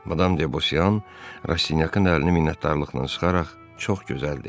Madam Debosyan Rastinyakın əlini minnətdarlıqla sıxaraq çox gözəl dedi.